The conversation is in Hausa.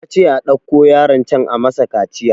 Yace a ɗauko yaron can a masa kaciya